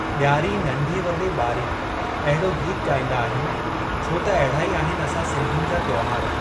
ॾियारी नंढे वॾे ॿारी एहिड़ो गीत ॻाईन्दा आहियूं छो त एहिड़ा ई आहिनि असां सिन्धियुनि जा त्योहारु।